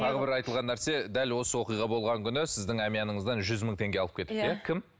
тағы бір айтылған нәрсе дәл осы оқиға болған күні сіздің әмияныңыздан жүз мың теңге алып кетіпті иә кім